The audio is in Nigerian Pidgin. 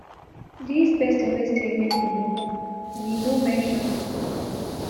dis pesin wey say make we no we no mention